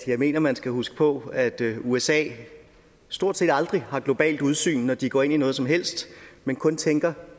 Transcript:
jeg mener man skal huske på at usa stort set aldrig har globalt udsyn når de går ind i noget som helst men kun tænker